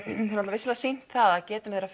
vissulega sýnt það að geta þeirra